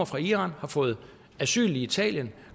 fra iran og har fået asyl i italien